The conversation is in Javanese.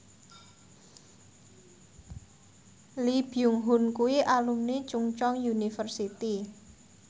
Lee Byung Hun kuwi alumni Chungceong University